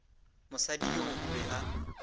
mosadi yoo o be a